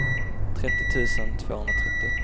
trettio tusen tvåhundratrettio